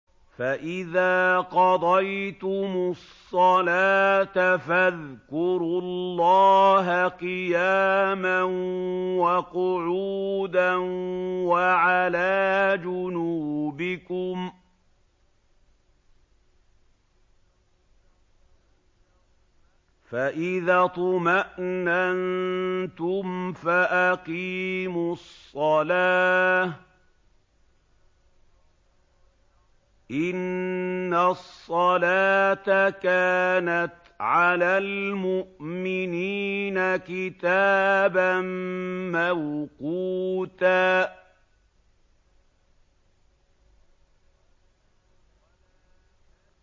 فَإِذَا قَضَيْتُمُ الصَّلَاةَ فَاذْكُرُوا اللَّهَ قِيَامًا وَقُعُودًا وَعَلَىٰ جُنُوبِكُمْ ۚ فَإِذَا اطْمَأْنَنتُمْ فَأَقِيمُوا الصَّلَاةَ ۚ إِنَّ الصَّلَاةَ كَانَتْ عَلَى الْمُؤْمِنِينَ كِتَابًا مَّوْقُوتًا